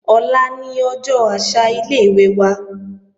Ọ̀la ni ọjọ́ àṣà ilé-ìwé wa